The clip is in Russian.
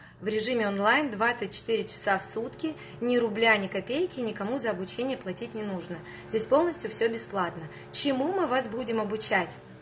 в режиме онлайн двадцать четыре часа в сутки ни рубля ни копейки ни кому за обучение платить не нужно здесь полностью всё бесплатно чему мы вас будем обучать